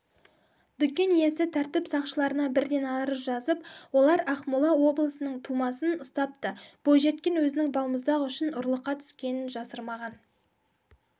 дүкен иесі тәртіп сақшыларына бірден арыз жазып олар ақмола облысының тумасын ұстапты бойжеткен өзінің балмұздақ үшін ұрлыққа түскенін жасырмаған